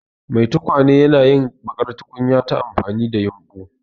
Mai tukwane yana yin baƙar tukunya ta amfani da yumbu.